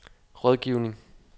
rådgivning